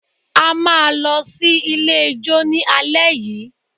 A máa lọ sí ilé ijó ní alẹ́ yìí